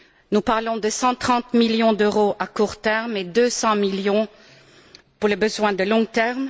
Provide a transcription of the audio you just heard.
Nous parlons de 130 millions d'euros à court terme, et de 200 millions pour les besoins à long terme.